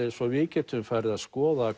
svo við gætum farið að skoða